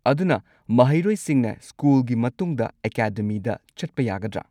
ꯑꯗꯨꯅ ꯃꯍꯩꯔꯣꯏꯁꯤꯡꯅ ꯁ꯭ꯀꯨꯜꯒꯤ ꯃꯇꯨꯡꯗ ꯑꯦꯀꯥꯗꯦꯃꯤꯗ ꯆꯠꯄ ꯌꯥꯒꯗ꯭ꯔꯥ?